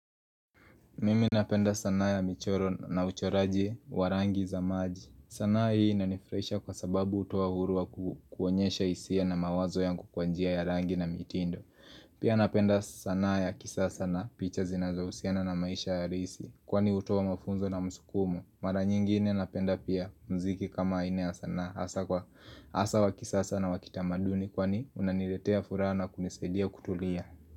Mimi napenda sanaa ya michoro na uchoraji wa rangi za maji sanaa hii nanifraisha kwa sababu utowa huru wa kukuanyesha isia na mawazo ya kukuanjia ya rangi na mitindo. Pia napenda sanaa ya kisasa na picha zinazausiana na maisha ya risi Kwani utuwa mafunzo na musukumu Mara nyingine napenda pia mziki kama ine ya sanaa Asa kwa asa wa kisasa na wakitamaduni kwani unaniletea furaha na kunisailia kutulia.